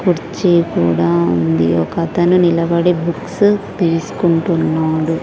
కుర్చి కూడా ఉంది ఒక అతను నిలబడి బుక్స్ తీసుకుంటున్నాడు.